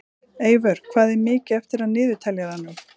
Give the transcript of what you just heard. Eyvör, hvað er mikið eftir af niðurteljaranum?